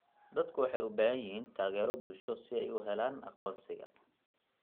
Dadku waxay u baahan yihiin taageero bulsho si ay u helaan aqoonsiga.